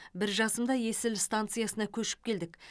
бір жасымда есіл станциясына көшіп келдік